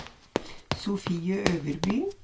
Sofie Øverby